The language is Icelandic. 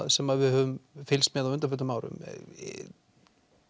sem við höfum fylgst með á undanförnum árum